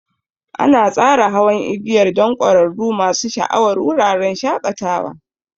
An tsara hawan igiyar don ƙwararrun masu sha'awar wuraren shakatawa.